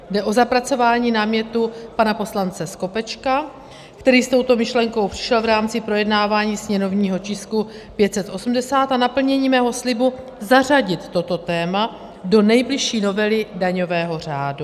Jde o zapracování námětu pana poslance Skopečka, který s touto myšlenkou přišel v rámci projednávání sněmovního tisku 580, a naplnění mého slibu zařadit toto téma do nejbližší novely daňového řádu.